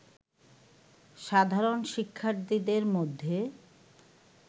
সাধারণ শিক্ষার্থীদের মধ্যে